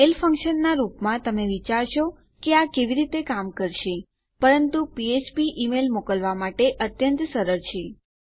mail function નાં રૂપમાં તમે વિચારશો કે આ કેવી રીતે કામ કરશે પરંતુ ફ્ફ્પ ઈમેલ મોકલવા માટે અત્યંત સરળ છે